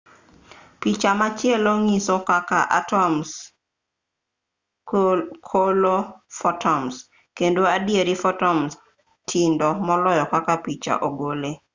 picha machielo nyiso kaka atoms kolo fotons kendo adieri fotons tindo moloyo kaka picha ogole